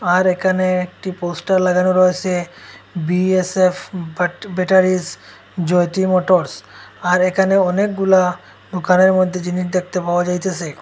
আর এখানে একটি পোস্টার লাগানো রয়েসে বিএসএফ বাট ব্যাটারিস জ্যোতি মোটরস আর এখানে অনেকগুলা দুকানের মধ্যে জিনিস দেখতে পাওয়া যাইতেসে।